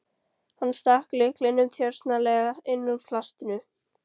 Hann stakk lyklinum þjösnalega inn úr plastinu.